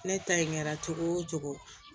Ne ta in kɛra cogo o cogo